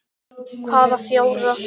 Hvaða fjórar?